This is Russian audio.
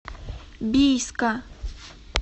бийска